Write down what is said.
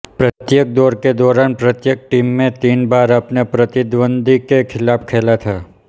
प्रत्येक दौर के दौरान प्रत्येक टीम में तीन बार अपने प्रतिद्वंद्वी के खिलाफ खेला था